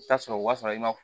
I bi taa sɔrɔ o b'a sɔrɔ i ma